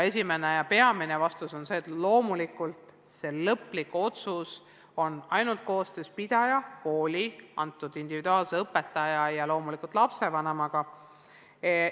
Esimene ja peamine vastus on see, et loomulikult tehakse lõplik otsus koostöös pidaja, kooli, konkreetse õpetaja ja loomulikult lapsevanemaga.